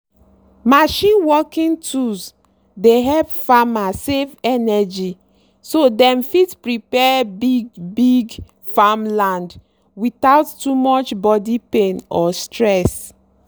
machine working tools dey help farmer save energy so dem fit prepare big-big farmland without too much body pain or stress.